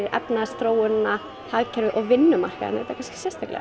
efnahagsþróunina hagkerfið og vinnumarkaðinn auðvitað sérstaklega